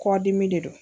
Kɔdimi de don